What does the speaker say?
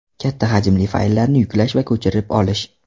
Katta hajmli fayllarni yuklash va ko‘chirib olish .